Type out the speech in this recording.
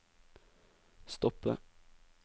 stoppe